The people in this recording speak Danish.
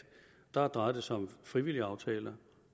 drejede sig om frivillige aftaler